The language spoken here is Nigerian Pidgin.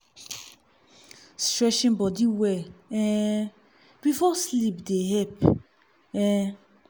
stretching body well um before sleep dey help. um